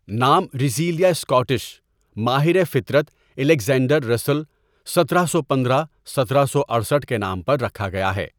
نام Russelia Scottish ماہر فطرت الیگزینڈر رسل سترہ سو پندرہ ستارہ سو اٹھسٹھ كے نام پر ركھا گېا ہے.